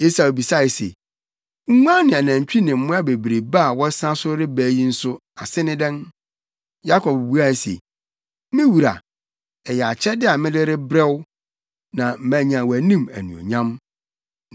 Esau bisae se, “Nguan ne anantwi ne mmoa bebrebe a wɔsa so reba yi nso ase ne dɛn?” Yakob buae se, “Me wura, ɛyɛ akyɛde a mede rebrɛ wo, na manya wʼanim anuonyam.”